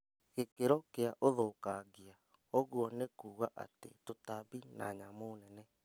Gĩkĩro kĩa ũthũkangia, ũguo nĩkuga atĩ tũtambi na nyamũ nene